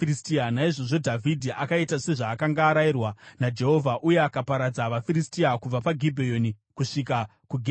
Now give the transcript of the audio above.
Naizvozvo Dhavhidhi akaita sezvaakanga arayirwa naJehovha, uye akaparadza vaFiristia kubva paGibheoni kusvika kuGezeri.